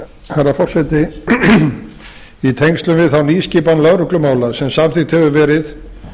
herra forseti í tengslum við þá nýskipan lögreglumála sem samþykkt hefur verið